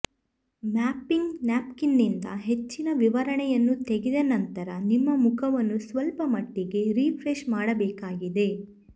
mapping ನಾಪ್ಕಿನ್ನಿಂದ ಹೆಚ್ಚಿನ ವಿವರಣೆಯನ್ನು ತೆಗೆದ ನಂತರ ನಿಮ್ಮ ಮುಖವನ್ನು ಸ್ವಲ್ಪಮಟ್ಟಿಗೆ ರಿಫ್ರೆಶ್ ಮಾಡಬೇಕಾಗಿದೆ